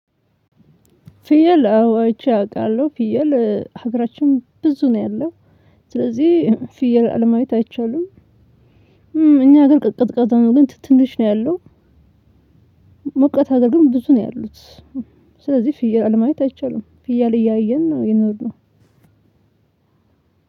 ፍየል አዋ አይቼ አውቃለሁ ፍየል ሀገራችን ብዙ ነው ያለው ስለዚህ ፍየል አለማየት አይቻልም። እኛ ሀገር ቀዝቃዛ ነው ግን ትንሽ ነው ያሉን። ሞቃት አገር ግን ብዙ ነው ያሉት። ስለዚህ ፍየል አለማየት አይቻልም ፍየል እያየን ነው የኖርነው።